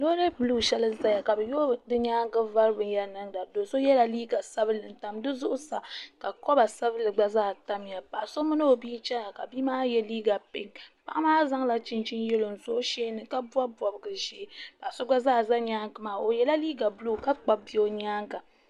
loori buluu shɛli n-ʒiya ka bɛ yooi din nyaaga vari binyɛra niŋda do' so yela liiga sabinli n-tam di zuɣusaa ka kɔba sabinli gba zaa tamya paɣ' so mini o bia n-chana ka bia maa ye liiga pinki paɣa maa zaŋla chinchini yeelo n-sɔ o sheeni ka bɔbi bɔbigi ʒee paɣ' so gba zaa za nyaaga maa o yela liiga buluu ka kpabi bia o nyaaŋa.